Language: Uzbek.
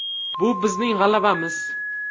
Bu bizning g‘alabamiz.